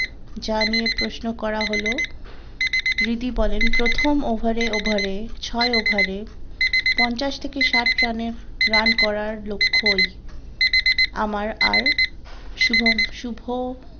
যা নিয়ে প্রশ্ন করা হলো রিদি বলেন প্রথম ওভারে ওভারে পঞ্চাশ থেকে ষাট রানের রান করার লক্ষ্য ই আমার আর শুভম শুভ